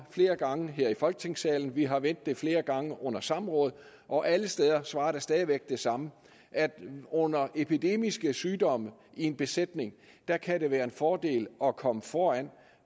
flere gange her i folketingssalen vi har vendt det flere gange under samråd og alle steder svarer jeg det samme at under epidemiske sygdomme i en besætning kan det være en fordel at komme foran